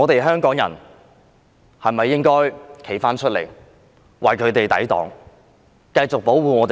香港人現時應否站出來為我們的青年人抵擋，繼續保護他們？